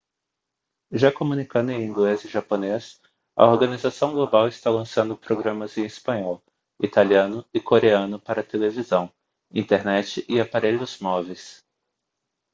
já comunicando em inglês e japonês a organização global está lançando programas em espanhol italiano e coreano para televisão internet e aparelhos móveis